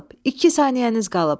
İki saniyəniz qalıb.